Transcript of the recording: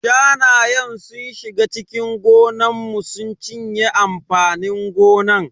Shanayen sun shiga cikin gonan mu sun cinye amfanin gonan.